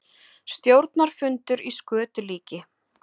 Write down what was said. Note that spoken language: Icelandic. Stjórnarfundur í skötulíki